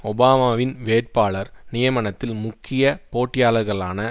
ஒபாமாவின் வேட்பாளர் நியமனத்தில் முக்கிய போட்டியாளர்களான